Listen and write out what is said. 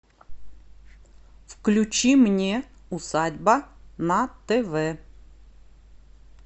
включи мне усадьба на тв